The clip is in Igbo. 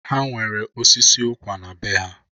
Ha nwere osisi ụkwa na bee ha.